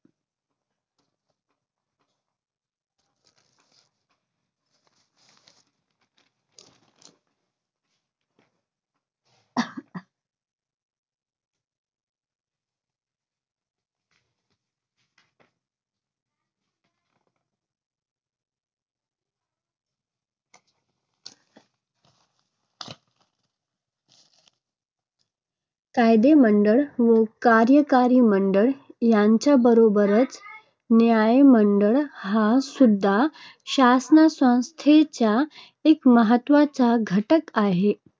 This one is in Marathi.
कायदेमंडळ व कार्यकारी मंडळ यांच्याबरोबरच न्यायमंडळ हा सुद्धा शासनसंस्थेचा एक महत्त्वाचा घटक आहे.